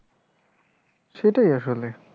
সেটাই আসলে